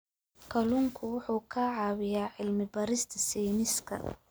Kalluunku wuxuu ka caawiyaa cilmi-baarista sayniska.